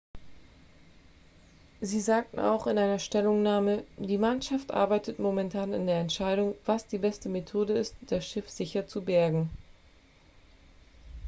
sie sagten auch in einer stellungnahme die mannschaft arbeitet momentan an der entscheidung was die beste methode ist das schiff sicher zu bergen